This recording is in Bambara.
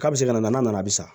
K'a bɛ se ka na n'a nana bi sisan